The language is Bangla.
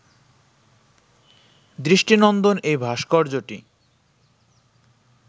দৃষ্টিনন্দন এই ভাস্কর্যটি